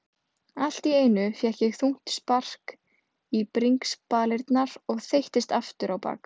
Allt í einu fékk ég þungt spark í bringspalirnar og þeyttist afturábak.